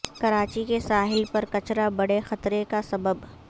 کراچی کے ساحل پر کچرا بڑے خطرے کا سبب